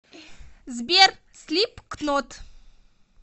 сбер слипкнот